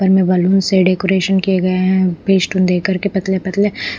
घर में बलून से डेकोरेशन किए गए हैं पेस्टून देकर के पतले-पतले--